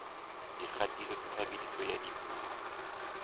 dikgatiso tsa tshebediso ya dipuo